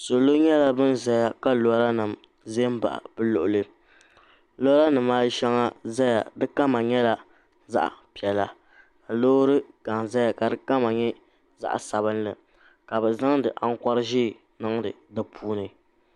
Salo nyɛla ban zaya ka loorinima za m-baɣi bɛ luɣili loorinima ayi shɛŋa zaya di kama nyɛla zaɣ' piɛlli loori ɡaŋa zaya ka di kama nyɛ zaɣ' sabinli ka bɛ zaŋdi aŋkɔr' ʒee niŋdi di puuni